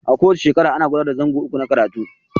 A ko wace shekara ana gudanar da zango uku na karatu.